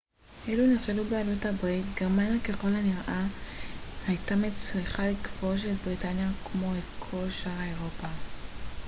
אילו נכשלו בעלות הברית גרמניה ככל הנראה הייתה מצליחה לכבוש את בריטניה כמו את שאר אירופה